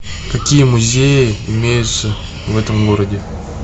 какие музеи имеются в этом городе